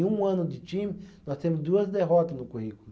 Em um ano de time, nós temos duas derrotas no currículo.